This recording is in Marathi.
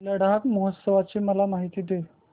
लडाख महोत्सवाची मला माहिती दे